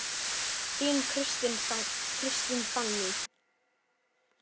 Þín, Kristín Fanný.